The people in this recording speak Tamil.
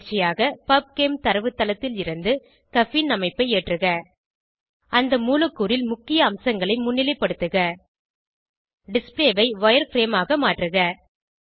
பயிற்சியாக பப்செம் தரவுத்தளத்தில் இருந்து கஃபீன் அமைப்பை ஏற்றுக அந்த மூலக்கூறில் முக்கிய அம்சங்களை முன்னிலைப்படுத்துக டிஸ்ப்ளே ஐ வயர்ஃப்ரேம் ஆக மாற்றுக